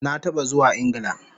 Na taba zuwa Ingla